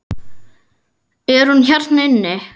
Er hún hérna inni?